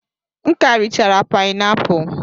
M ka richara painapulu.